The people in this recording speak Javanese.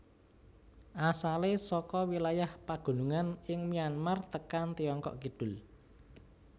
Asalé saka wilayah pagunungan ing Myanmar tekan Tiongkok kidul